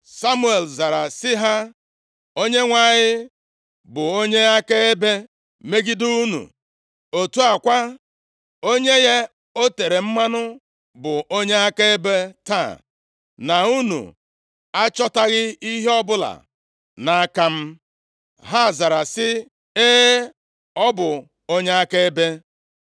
Samuel zara sị ha, “ Onyenwe anyị bụ onye akaebe megide unu. Otu a kwa, onye ya o tere mmanụ bụ onye akaebe taa, na unu achọtaghị ihe ọbụla nʼaka m.” Ha zara sị, “E, ọ bụ onye akaebe!”